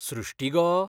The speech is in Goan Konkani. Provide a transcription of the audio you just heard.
सृष्टी गो!